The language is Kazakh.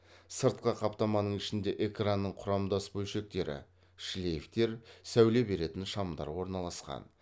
сыртқы қаптаманың ішінде экранның құрамдас бөлшектері шлейфтер сәуле беретін шамдар орналасқан